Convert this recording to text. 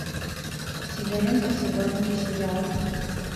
сидоренко сидоренко сериал